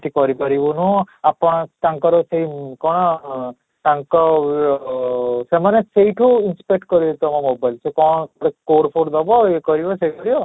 ଟି କରି ପାରିବୁନୁ ଆପଣ ତାଙ୍କର ସେଇ କଣ ତାଙ୍କ ଅଃ ସେମାନେ ସେଇଠୁ inspect କରିବେ ତୋମ mobile କୁ ତୁ କଣ ମାନେ code code ଦେବ ଇୟେ କରିବ ସିଏ କରିବ